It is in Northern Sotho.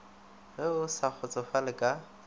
ge o sa kgotsofale ka